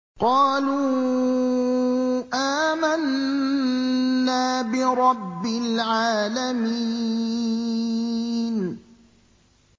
قَالُوا آمَنَّا بِرَبِّ الْعَالَمِينَ